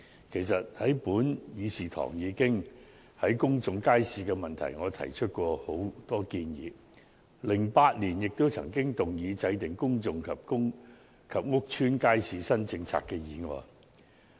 其實，我在本議事堂已就公眾街市的問題，提出過很多建議 ，2008 年也曾動議"制訂公眾及公屋街市新政策"的議案。